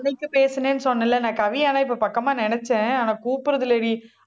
அன்னைக்கு பேசுனேன்னு சொன்னேன் இல்லை இப்ப பக்கமா நினைச்சேன் ஆனா கூப்பிடறது இல்லைடி